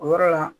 O yɔrɔ la